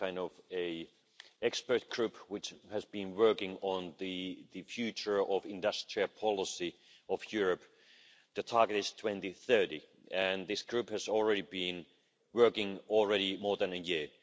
It's kind of an expert group which has been working on the future of the industrial policy of Europe. The target is 2030 and this group has already been working more than a year.